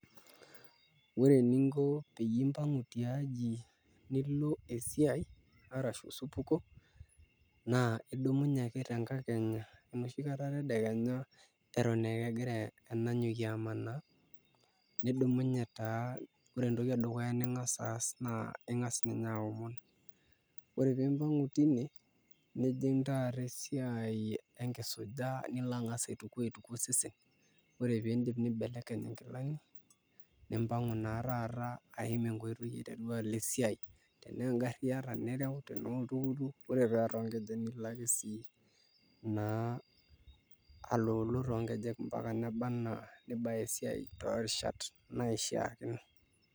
Ore eninko peyie imbangu tiaji nilo esiai arashu osupuko naa idumunye ake tenkakenya enoshi kata tedekenya egira enanyokie amanaa nidumunye taa ore entoki edukuya ning'as aas naa Inga's ninye aomon ore pee imbangu tine nijing' taata esiai enkisuja nilo ang'as aituku osesen ore pee iindip nibelekeny nkilani nimpangu naa taata aaim enkoitoi alo esiai tenaa engarri iata nireu tenaa oltukutuk ore paa toonkejek nilo ake sii naa aloloo toonkejek mpaka neba enaa nibaya esiai toorishat naishiakinore.